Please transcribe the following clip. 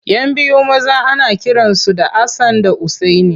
Yan biyu maza ana kiransu da Hassan da Usaini.